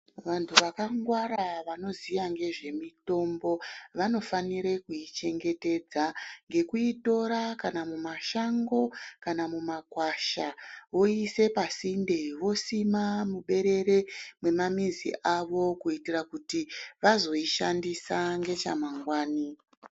Vantu vakangwara vanoziya ngezvemutombo vanofanira kuichengetedza ngekuitora kana mumashango kana mumakwasha oisime pasinde osina mumaberere emizi dzavo kuitire kuti vozoishandisa ngechamangwani.